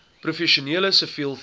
professioneel siviel vervoer